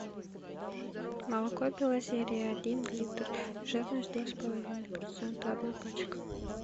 молоко белозерье один литр жирность два с половиной процента одна пачка